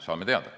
Saame teada.